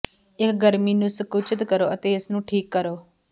ਇਕ ਗਰਮੀ ਨੂੰ ਸੰਕੁਚਿਤ ਕਰੋ ਅਤੇ ਇਸ ਨੂੰ ਠੀਕ ਕਰੋ